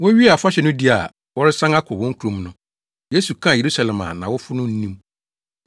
Wowiee afahyɛ no di a wɔresan akɔ wɔn kurom no, Yesu kaa Yerusalem a nʼawofo no nnim.